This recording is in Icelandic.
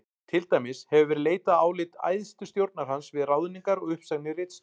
Til dæmis hefur verið leitað álits æðstu stjórnar hans við ráðningar og uppsagnir ritstjóra.